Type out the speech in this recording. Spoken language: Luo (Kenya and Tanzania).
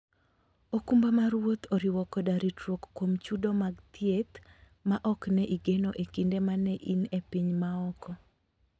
okumba mar wuoth oriwo koda ritruok kuom chudo mag thieth ma ne ok igeno e kinde ma ne in e piny maoko.